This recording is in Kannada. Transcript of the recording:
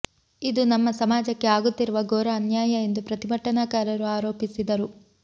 ಇದು ನಮ್ಮ ಸಮಾಜಕ್ಕೆ ಆಗುತ್ತಿರುವ ಘೋರ ಅನ್ಯಾಯ ಎಂದು ಪ್ರತಿಭಟನಾಕಾರರು ಆರೋಪಿಸಿದರು